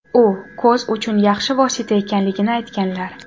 u ko‘z uchun yaxshi vosita ekanligini aytganlar.